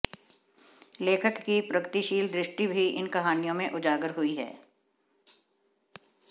लेखक की प्रगतिशील दृष्टि भी इन कहानियों में उजागर हुई है